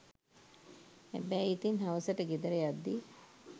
හැබැයි ඉතින් හවසට ගෙදර යද්දී